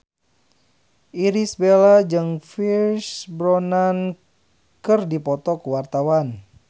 Irish Bella jeung Pierce Brosnan keur dipoto ku wartawan